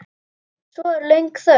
Svo er löng þögn.